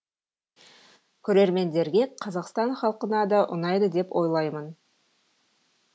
көрермендерге қазақстан халқына да ұнайды деп ойлаймын